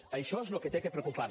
d’això és del que s’ha de preocupar